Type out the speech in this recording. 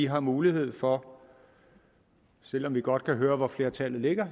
har mulighed for selv om vi godt kan høre hvor flertallet ligger